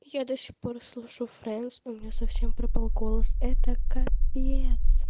я до сих пор слышу фрэндс у меня совсем пропал голос это капец